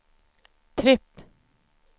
tripp